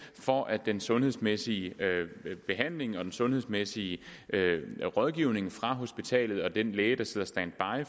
for at den sundhedsmæssige behandling og den sundhedsmæssige rådgivning fra hospitalet og fra den læge der sidder standby